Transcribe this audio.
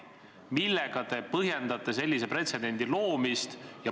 Millega te põhjendate sellise pretsedendi loomist?